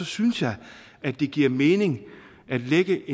synes jeg at det giver mening at lægge